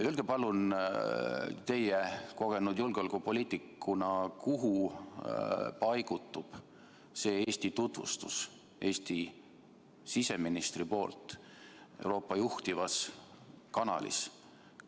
Öelge palun teie kogenud julgeolekupoliitikuna, kuhu see Eesti siseministri tutvustus Euroopa juhtivas kanalis Eesti paigutab.